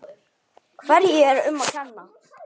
Hverju er um að kenna?